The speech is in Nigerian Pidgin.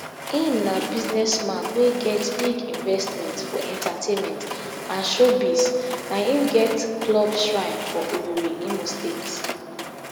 im na business man wey get big investment for entertainment and showbiz na im get club xhrine for owerri imo state